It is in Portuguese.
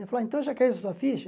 Vai falar, então já caiu a sua ficha?